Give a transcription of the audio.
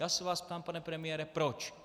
Já se vás ptám, pane premiére, proč.